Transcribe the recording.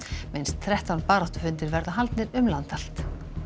minnst þrettán baráttufundir verða haldnir um land allt